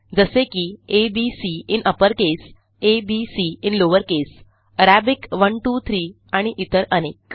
जसे की A B C in uppercase A B C in lowercase Arabic 1 2 3आणि इतर अनेक